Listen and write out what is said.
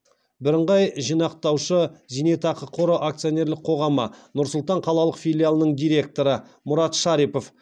бірыңғай жинақтаушы зейнетақы қоры акционерлік қоғамы нұр сұлтан қалалық филиалының директоры мұрат шарипов